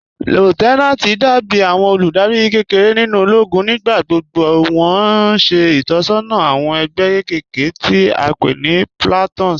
Lieutenanti dàbí àwọn olúdárì kẹ́kẹ̀rẹ̀ nínu òlógún. Nígbàgbọ́gbọ́ wọn ṣẹ̀ itọsọna àwọn ẹgbẹ kẹ́kẹ̀rẹ̀ tí a pẹ̀ ní "platoons"